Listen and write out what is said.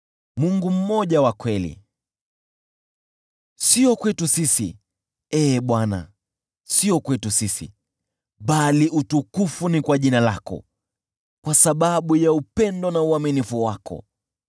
Sio kwetu sisi, Ee Bwana , sio kwetu sisi, bali utukufu ni kwa jina lako, kwa sababu ya upendo na uaminifu wako.